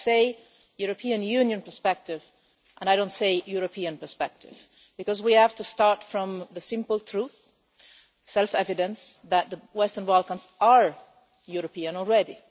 I say European Union perspective, I do not say European perspective, because we have to start from the simple truth and the self evidence that the Western Balkans are European already.